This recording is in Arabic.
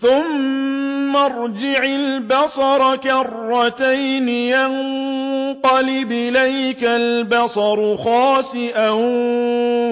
ثُمَّ ارْجِعِ الْبَصَرَ كَرَّتَيْنِ يَنقَلِبْ إِلَيْكَ الْبَصَرُ خَاسِئًا